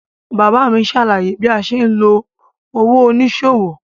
Bàbá mi ṣàlàyé bí a ṣe ń lo òwò oníṣòwò.